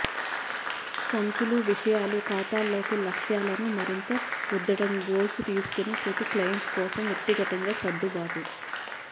సంచులు విషయాలు ఖాతాలోకి లక్ష్యాలను మరియు రుద్దడం గోల్స్ తీసుకొని ప్రతి క్లయింట్ కోసం వ్యక్తిగతంగా సర్దుబాటు